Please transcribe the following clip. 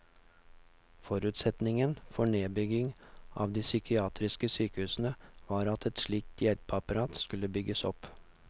Forutsetningen for nedbyggingen av de psykiatriske sykehusene var at et slikt hjelpeapparat skulle bygges opp.